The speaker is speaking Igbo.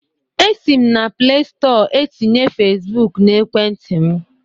Esi m na plestọ etinye Fesbụk na ekwenti m